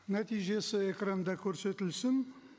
нәтижесі экранда көрсетілсін